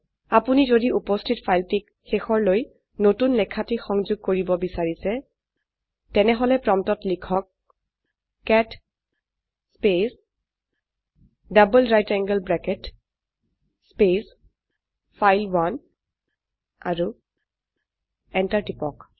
আপোনি যদি উপস্থিত ফাইলটিক শেষৰলৈ নতুন লেখাটি সংযোগ কৰিব বিচাৰিছেন তেনেহলে প্ৰম্পটত লিখক cat space double right angle bracket space file one আৰু এন্টাৰ টিপক